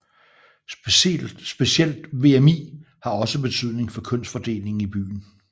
Specielt VMI har også betydning for kønsfordelingen i byen